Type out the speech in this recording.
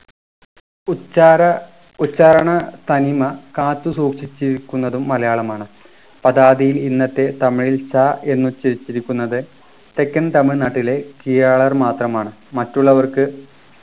ഉച്ചാര ഉച്ചാരണത്തനിമ കാത്തുസൂക്ഷിച്ചിരിക്കുന്നതും മലയാളമാണ് പദാദിയിൽ ഇന്നത്തെ തമിഴിൽ ച എന്ന് ഉച്ചരിച്ചിരിക്കുന്നത് തെക്കൻ തമിഴ്നാട്ടിലെ കീഴാളർ മാത്രമാണ് മറ്റുള്ളവർക്ക്